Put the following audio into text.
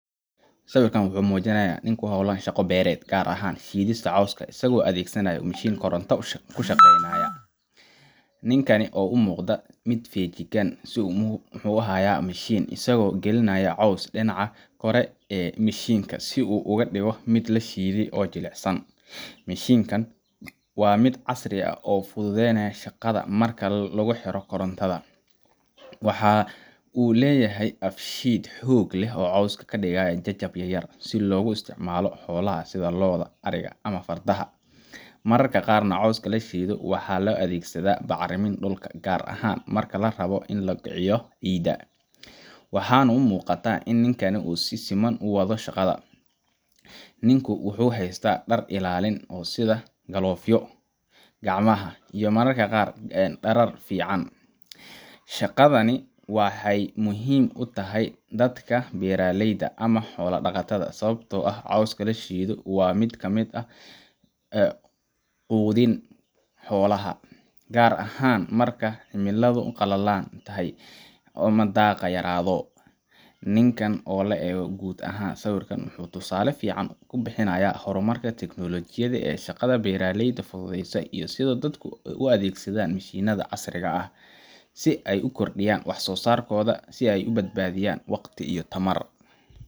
Sawirkan wuxuu muujinayaa nin ku hawlan shaqo beereed, gaar ahaan shiidista caws isagoo adeegsanaya mishiin koronto ku shaqeeya. Ninka ayaa u muuqda mid si feejigan u haya mishiinka, isaga oo gelinaya cawska dhinaca kore ee mishiinka si uu uga dhigo mid la shiiday oo jilicsan. Mishiinkan waa mid casri ah oo fududeynaya shaqada marka lagu xiro korontada. Waxa uu leeyahay af-shiid xoog leh oo cawska ka dhiga jajab yar yar, si loogu isticmaalo xoolaha sida lo’da, ariga ama fardaha. Mararka qaarna cawska la shiidayo waxaa loo adeegsadaa bacrinta dhulka, gaar ahaan marka la rabo in lagu kiciyo ciidda. Waxaa muuqata in shaqadan si ammaan ah loo wado. Ninku wuxuu haystaa dhar ilaalin ah sida galoofyada gacmaha iyo mararka qaar muraayad indhaha ah, si uu uga badbaado waxyeelo ka dhalan karta mishiinka ama qashinka ka duula. Shaqadan waxa ay muhiim u tahay dadka beeraleyda ah ama xoolo dhaqatada, sababtoo ah cawska la shiidayo waa mid si sahlan loogu quudin karo xoolaha, gaar ahaan marka cimiladu qalalan tahay ama daaqa yaraaado. ninkan oo la eego guud ahaan, sawirkan wuxuu tusaale fiican ka bixinayaa horumarka tiknoolajiyadda ee shaqada beeralayda fududeeysa, iyo sida dadku u adeegsanayaan mishiinnada casriga ah si ay u kordhiyaan wax-soosaarkooda oo ay u badbaadiyaan waqti iyo tamar.